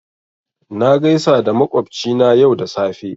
Na gaisa da makwabci na yau da safe